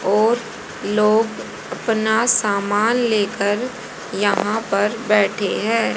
और लोग अपना सामान लेकर यहां पर बैठे हैं।